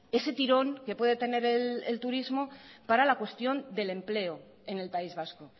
ese tirón que puede tener el turismo para la cuestión del empleo en el país vasco